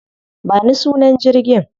Ba ni sunan jirgin.